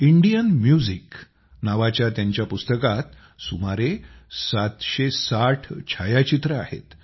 Indian music नावाच्या त्यांच्या पुस्तकात सुमारे 760 छायाचित्रे आहेत